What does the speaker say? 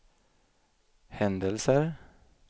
händelser